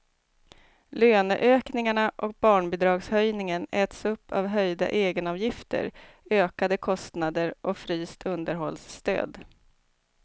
Löneökningarna och barnbidragshöjningen äts upp av höjda egenavgifter, ökade kostnader och fryst underhållsstöd.